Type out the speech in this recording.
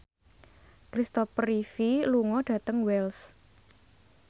Kristopher Reeve lunga dhateng Wells